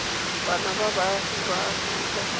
bana ba baagi ba aforika